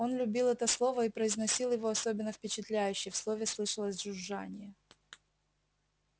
он любил это слово и произносил его особенно впечатляюще в слове слышалось жужжание